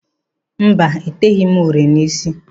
Mba, eteghi m uri n'ísí.